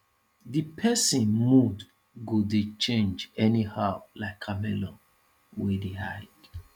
di pesin mood go dey change anyhow like chameleon wey dey hide